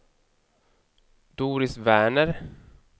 Doris Werner